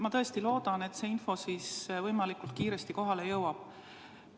Ma tõesti loodan, et see info võimalikult kiiresti kohale jõuab.